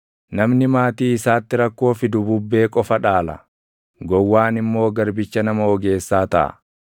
Namni maatii isaatti rakkoo fidu bubbee qofa dhaala; gowwaan immoo garbicha nama ogeessaa taʼa.